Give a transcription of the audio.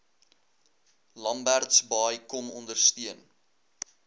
lambertsbaai kom ondersteun